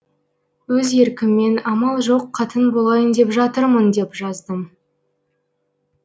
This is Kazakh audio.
өз еркіммен амал жоқ қатын болайын деп жатырмын деп жаздым